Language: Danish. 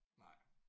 Nej